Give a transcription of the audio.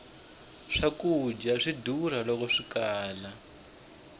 swkudya swa durha loko swikala